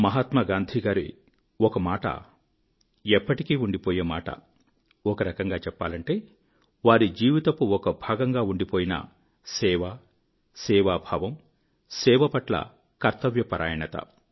మహాత్మా గాంధీ గారి ఒక మాట ఎప్పటికీ ఉండిపోయే మాట ఒక రకంగా చెప్పాలంటే వారి జీవితపు ఒక భాగంగా ఉండిపోయిన సేవ సేవాభావం సేవ పట్ల కర్తవ్య పరాయణత